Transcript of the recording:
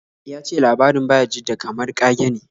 Ya ce labarin Bayajidda kamar ƙage ne.